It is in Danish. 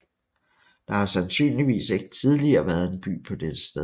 Der har sandsynligvis ikke tidligere været en by på dette sted